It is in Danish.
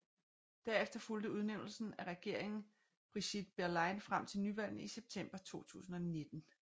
Derefter fulgte udnævnelsen af regeringen Brigitte Bierlein frem til nyvalgene i september 2019